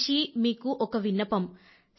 నా నుంచి మీకు ఒక విన్నపం